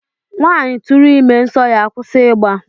Nwaanyị tụrụ ime, nsọ ya akwụsị ịgba